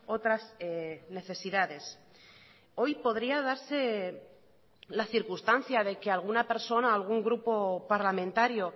otras necesidades hoy podría darse la circunstancia de que alguna persona algún grupo parlamentario